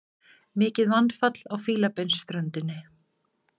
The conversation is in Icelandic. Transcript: Mikið mannfall á Fílabeinsströndinni